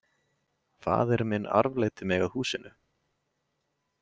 Faðir minn arfleiddi mig að húsinu.